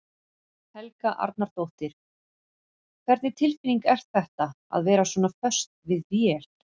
Helga Arnardóttir: Hvernig tilfinning er þetta, að vera svona föst við vél?